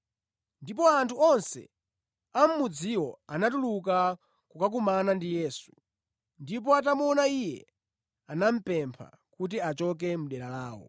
Ndipo anthu onse a mʼmudziwo anatuluka kukakumana ndi Yesu. Ndipo atamuona Iye, anamupempha kuti achoke mʼdera lawo.